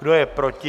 Kdo je proti?